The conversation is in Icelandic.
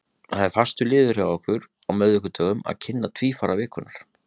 Það er fastur liður hjá okkur á miðvikudögum að kynna tvífara vikunnar.